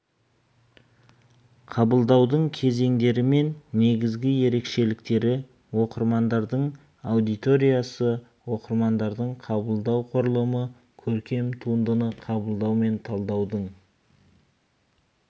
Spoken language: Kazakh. қабылдаудың кезеңдері мен негізгі ерекшеліктері оқырмандардың аудиториясы оқырмандардың қабылдау құрылымы көркем туындыны қабылдау мен талдаудың